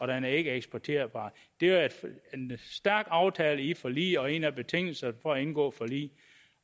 den ikke er eksporterbar det er en stærk aftale i forliget og en af betingelserne for at indgå forlig